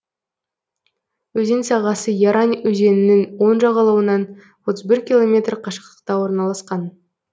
өзен сағасы ярань өзенінің оң жағалауынан отыз бір километр қашықтықта орналасқан